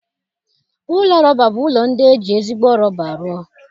Ụlọ rọba bụ ụlọ ndị e ji ezigbo rọba rụọ